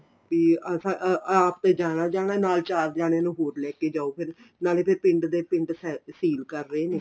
B ਅਸੀਂ ਆਪ ਜਾਣਾ ਜਾਣਾ ਨਾਲ ਚਾਰ ਜਾਣੇ ਨੂੰ ਹੋਰ ਲੈਕੇ ਜਾਉ ਫੇਰ ਨਾਲੇ ਫੇਰ ਪਿੰਡ ਦੇ ਪਿੰਡ seal ਕਰ ਰਹੇ ਨੇ